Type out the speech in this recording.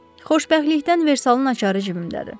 Xoşbəxtlikdən Versalın açarı cibimdədir.